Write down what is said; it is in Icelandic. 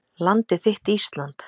Landið þitt Ísland